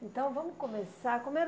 Então, vamos começar. Como era